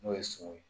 N'o ye sogo ye